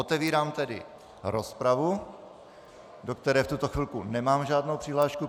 Otevírám tedy rozpravu, do které v tuto chvilku nemám žádnou přihlášku.